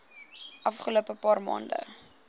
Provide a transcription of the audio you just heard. afgelope paar maande